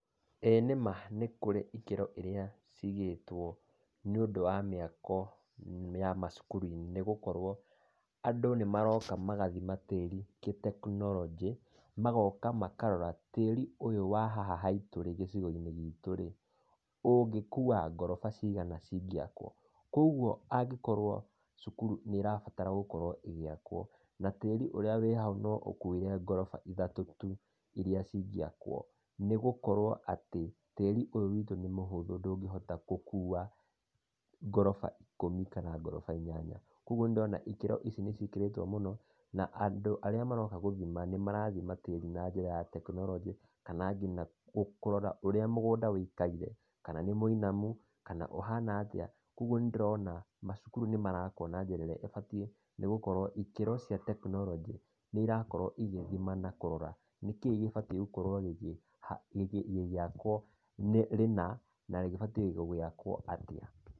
Ĩĩ nĩma nĩ kũrĩ ikĩro ĩria ciigĩtwo nĩ ũndũ wa mĩako ya macukuru-inĩ nĩ gũkorwo andũ nĩmaroka magathima tĩri gĩ-tekinoronjĩ, magoka makarora tĩri ũyũ wa haha haitũ, gĩcigo-inĩ gitũrĩ, ũngĩkua ngoroba cigana ũngĩakwo. Koguo angĩkorwo cukuru nĩ ĩrabatara gũkorwo ĩgĩakwo, na tĩri ũrĩa wĩhau no ũkuire ngoroba ithatũ tu, iria cingiakwo, nĩgũkorwo atĩ, tĩri ũyũ witũ nĩ mũhũthũ ndũngĩhota gũkuwa ngoroba ikũmi kana inyanya. Koguo ngona ikĩro ici nĩ ciĩkĩrĩtwo mũno, na andũ arĩa maroka gũthima, nĩmarathima tĩri na njĩra ya tekinoronjĩ, kana kũrora ngina ũrĩa mũgũnda ũikaire; kana nĩ mũinamu, ũhana atĩa. Koguo nĩ ndĩrona macukuru nĩ marakwo na njĩra irĩa ibatiĩ, nĩgũkorwo ikĩro cia tekinoronjĩ nĩ irakorwo igĩthima na kũrora nĩkĩĩ gĩbatĩi gũkorwo gĩgĩakwo rĩna na gĩbatiĩ gũakwo atĩa.